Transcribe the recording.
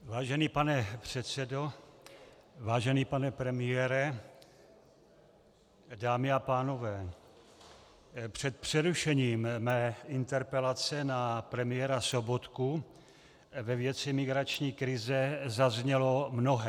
Vážený pane předsedo, vážený pane premiére, dámy a pánové, před přerušením mé interpelace na premiéra Sobotku ve věci migrační krize zaznělo mnohé.